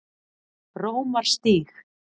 Rómarstíg